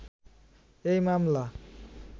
এই মামলা